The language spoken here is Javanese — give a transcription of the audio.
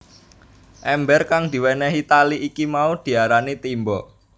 Èmbér kang diwénéhi tali iki mau diarani timba